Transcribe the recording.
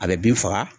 A bɛ bin faga